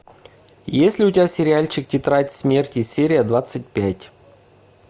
есть ли у тебя сериальчик тетрадь смерти серия двадцать пять